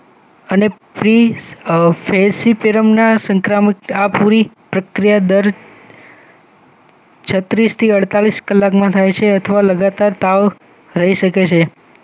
અને થ્રીતેસીથીરમના સંક્રામકત આ પૂરી પ્રક્રિયા દર છત્રીસ થી અડતાલીસ કલાકમાં થાય છે અથવા લગાતાર તાવ રહી શકે છે